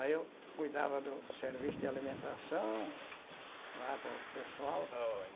Aí eu cuidava do do serviço de alimentação lá para o pessoal.